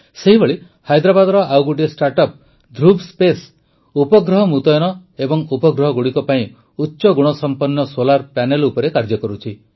ସେହିଭଳି ହାଇଦ୍ରାବାଦର ଆଉ ଗୋଟିଏ ଷ୍ଟାର୍ଟଅପ୍ ଧୃବ ସ୍ପେସ୍ ଉପଗ୍ରହ ମୃତୟନ ଏବଂ ଉପଗ୍ରହଗୁଡ଼ିକ ପାଇଁ ଉଚ୍ଚଗୁଣସମ୍ପନ୍ନ ସୋଲାର୍ ପ୍ୟାନେଲ ଉପରେ କାର୍ଯ୍ୟ କରୁଛି